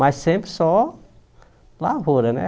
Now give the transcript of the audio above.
Mas sempre só lavoura, né?